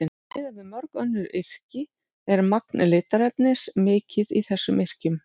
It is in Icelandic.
Miðað við mörg önnur yrki er magn litarefnis mikið í þessum yrkjum.